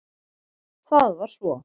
Það var svo